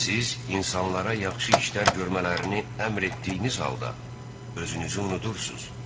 Siz insanlara yaxşı işlər görmələrini əmr etdiyiniz halda, özünüzü unudursuz.